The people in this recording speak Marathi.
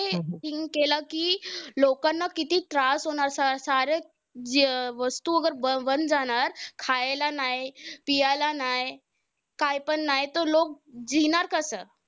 केलं कि, लोकांना किती त्रास होणार. सारे जे वस्तू बंद जाणार, खायला नाय, पियाला नाय, कायपण नाय तर लोकं कसं?